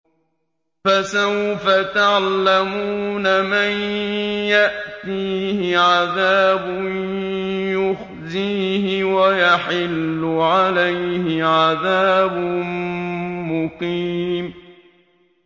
فَسَوْفَ تَعْلَمُونَ مَن يَأْتِيهِ عَذَابٌ يُخْزِيهِ وَيَحِلُّ عَلَيْهِ عَذَابٌ مُّقِيمٌ